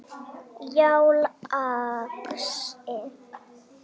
Já, lagsi.